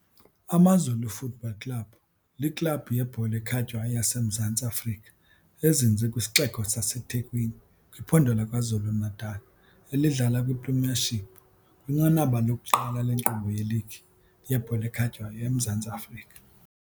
AmaZulu Football Club liklabhu yebhola ekhatywayo yaseMzantsi Afrika ezinze kwisixeko saseThekwini kwiphondo laKwaZulu Natal, elidlala kwiPremiership, kwinqanaba lokuqala lenkqubo yeligi yebhola ekhatywayo eMzantsi Afrika.